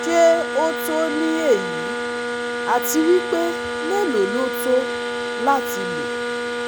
Se o to ni eyi ati wipe melo lo to lati lo